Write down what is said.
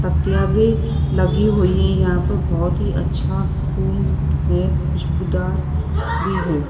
पत्तियां भी लगी हुई हैं यहां पर बहुत ही अच्छा फूल है खुशबूदार भी है।